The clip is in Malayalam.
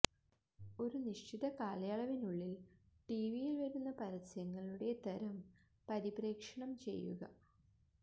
ഒരു നിശ്ചിത കാലയളവിനുള്ളിൽ ടിവിയിൽ വരുന്ന പരസ്യങ്ങളുടെ തരം പരിപ്രേക്ഷണം ചെയ്യുക